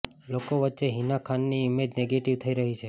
લોકો વચ્ચે હિના ખાનની ઈમેજ નેગેટિવ થઈ રહી છે